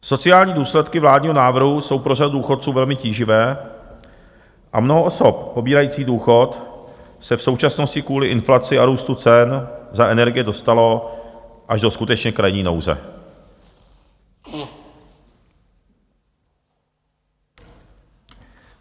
Sociální důsledky vládního návrhu jsou pro řadu důchodců velmi tíživé a mnoho osob pobírajících důchod se v současnosti kvůli inflaci a růstu cen za energie dostalo až do skutečně krajní nouze.